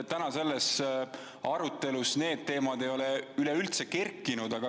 Tänases arutelus ei ole need teemad üleüldse esile kerkinud.